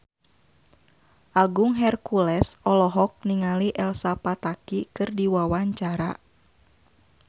Agung Hercules olohok ningali Elsa Pataky keur diwawancara